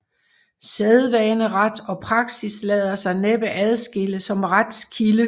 Sædvaneret og praksis lader sig næppe adskille som retskilde